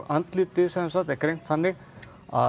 andlitið er greint þannig að